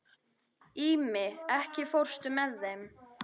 Ími, ekki fórstu með þeim?